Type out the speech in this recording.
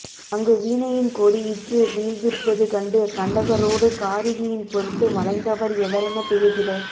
அங்கு வீணையின் கொடி இற்று வீழ்ந்திருப்பது கண்டு கண்டகரோடு காரிகையின் பொருட்டு மலைந்தவர் எவரெனத் திகைத்திட